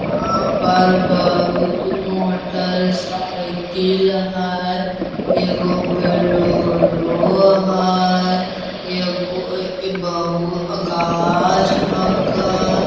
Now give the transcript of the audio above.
यहाँ पर बहुत मोटर साइकिल हई। एगो बोलेरो हई। एगो बहु गाछ हकै।